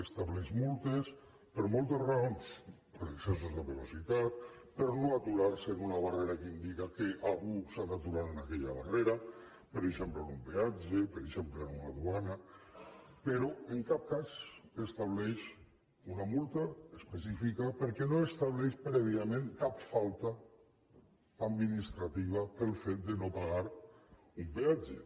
estableix multes per moltes raons per excessos de velocitat per no haver se aturat en una barrera que indica que algú s’ha d’aturar en aquella barrera per exemple en un peatge per exemple en una duana però en cap cas estableix una multa específica perquè no estableix prèviament cap falta administrativa pel fet de no pagar un peatge